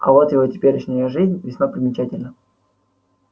а вот его теперешняя жизнь весьма примечательна